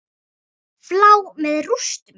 Flá með rústum.